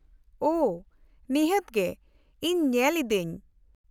-ᱳᱦᱚ, ᱱᱤᱦᱟᱹᱛ ᱜᱮ, ᱤᱧ ᱧᱮᱞ ᱤᱫᱟᱹᱧ ᱾